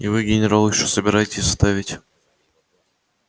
и вы генерал ещё собираетесь оставить